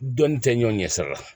Dɔnni tɛ ɲɔn ɲɛ sira la